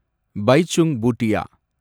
Baichung Bhutia